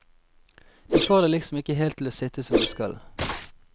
De får det liksom ikke helt til å sitte som det skal.